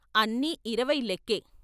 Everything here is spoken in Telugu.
అన్నీఇరవై లెక్కే....